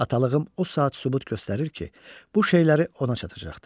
Atalığım o saat sübut göstərir ki, bu şeyləri ona çatacaqdı.